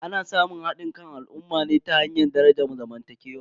Ana samun hadin kan al'ummar ne ta hanyar darajar zamantakewa.